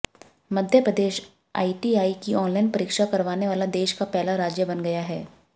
Madhya Pradesh ITI की online परीक्षा करवाने वाला देश का पहला राज्य बन गया है